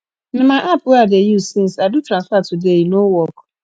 na my app wey i dey use since i do transfer today e no work